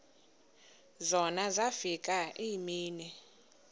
zona zafika iimini